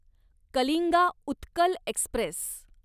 Kalinga Utkal Express